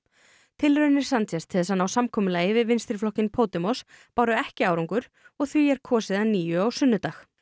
tilraunir til þess að ná samkomulagi við vinstriflokkinn Podemos báru ekki árangur og því er kosið að nýju á sunnudag